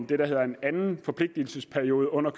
der hedder en anden forpligtelsesperiode under